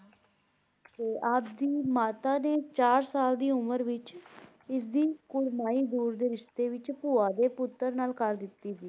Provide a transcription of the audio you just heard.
ਤੇ ਆਪ ਦੀ ਮਾਤਾ ਦੇ ਚਾਰ ਸਾਲ ਦੀ ਉਮਰ ਵਿੱਚ ਇਸ ਦੀ ਕੁੜਮਾਈ ਦੂਰ ਦੇ ਰਿਸ਼ਤੇ ਵਿੱਚ ਭੂਆ ਦੇ ਪੁੱਤਰ ਨਾਲ ਕਰ ਦਿੱਤੀ ਸੀ।